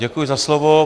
Děkuji za slovo.